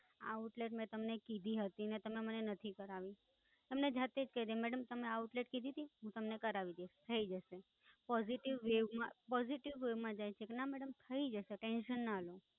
આ Outlet મેં તમને કીધી હતી ને તમે નથી કરાવી. તમને જાતે જ કહી દે, મેડમ તમે આ Outlet કીધીતી, હું તમને કરાવી દઈશ. થઇ જશે. Positive વેય માં, Positive way માં જાય છે કે ના મેડમ થઇ જશે, Tension ના લો.